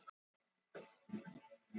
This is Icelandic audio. Vanskil hafa aukist hjá öllum lánastofnunum